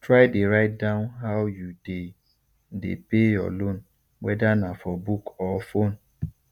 try dey write down how you dey dey pay your loan wether na for book or phone